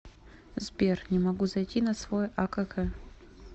сбер не могу зайти на свой акк